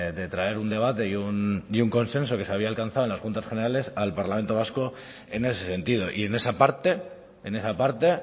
de traer un debate y un consenso que se había alcanzado en las juntas generales al parlamento vasco en ese sentido y en esa parte en esa parte